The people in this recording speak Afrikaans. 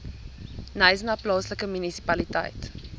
knysna plaaslike munisipaliteit